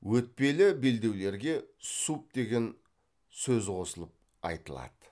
өтпелі белдеулерге суб деген сөз қосылып айтылады